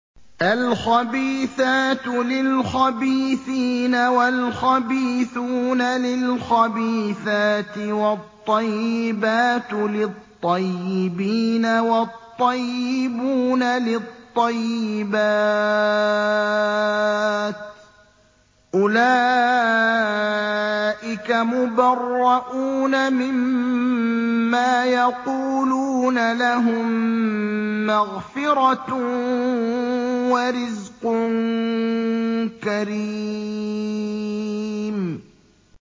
الْخَبِيثَاتُ لِلْخَبِيثِينَ وَالْخَبِيثُونَ لِلْخَبِيثَاتِ ۖ وَالطَّيِّبَاتُ لِلطَّيِّبِينَ وَالطَّيِّبُونَ لِلطَّيِّبَاتِ ۚ أُولَٰئِكَ مُبَرَّءُونَ مِمَّا يَقُولُونَ ۖ لَهُم مَّغْفِرَةٌ وَرِزْقٌ كَرِيمٌ